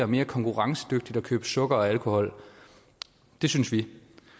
mere konkurrencedygtigt at købe sukker og alkohol det synes vi